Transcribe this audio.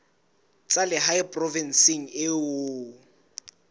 tsa lehae provinseng eo o